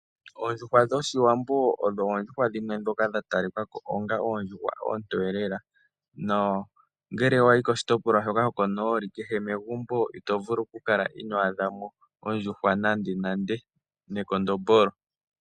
Oondjuhwa dhoshiwambo odho oondjuhwa dhimwe ndhoka dha talikako onga oondjuhwa oontoye lela. Nongele wayi koshitopolwa shoko nooli, kehe megumbo ito vulu oku kala ino adhamo ondjuhwa nandenande nekondombolo.